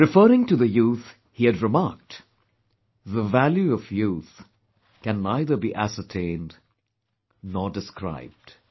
Referring to the youth, he had remarked, "The value of youth can neither be ascertained, nor described